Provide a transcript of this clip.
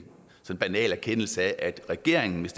banal erkendelse af at regeringen hvis